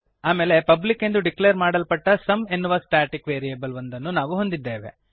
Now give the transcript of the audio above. ಆಮೇಲೆ ಪಬ್ಲಿಕ್ ಎಂದು ಡಿಕ್ಲೇರ್ ಮಾಡಲ್ಪಟ್ಟ ಸುಮ್ ಎನ್ನುವ ಸ್ಟಾಟಿಕ್ ವೇರಿಯಬಲ್ ಒಂದನ್ನು ನಾವು ಹೊಂದಿದ್ದೇವೆ